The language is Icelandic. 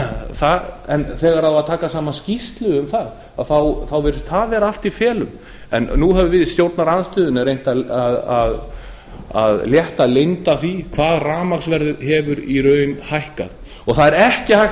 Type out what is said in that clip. jafnvel en þegar á að taka saman skýrslu um það þá virðist það vera allt í felum nú höfum við í stjórnarandstöðunni reynt að létta leynd af því hvað rafmagnsverðið hefur í raun hækkað og það er ekki hægt